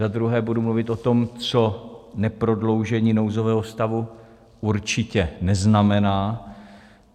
Za druhé budu mluvit o tom, co neprodloužení nouzového stavu určitě neznamená.